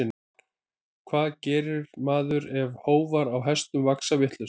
Hvað gerir maður ef hófar á hestum vaxa vitlaust?